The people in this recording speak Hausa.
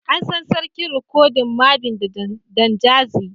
An san Sarkin rikodin Mavin da Don Jazzy.